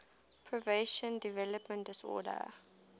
pervasive developmental disorders